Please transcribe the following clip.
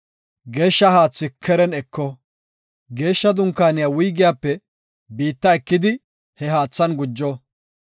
Geeshsha haathi keren eko. Geeshsha Dunkaaniya wuygiyape biitta ekidi he haathan gujo.